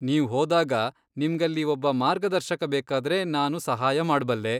ನೀವ್ ಹೋದಾಗ ನಿಮ್ಗಲ್ಲಿ ಒಬ್ಬ ಮಾರ್ಗದರ್ಶಕ ಬೇಕಾದ್ರೆ ನಾನು ಸಹಾಯ ಮಾಡ್ಬಲ್ಲೆ.